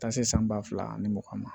Taa se san ba fila ani mugan ma